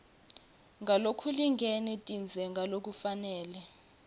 ngalokulingene tindze ngalokufanele